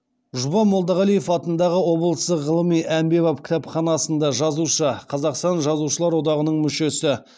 жұбан молдағалиев атындағы облыстық ғылыми әмбебап кітапханасында жазушы қазақстан жазушылар одағының мүшесі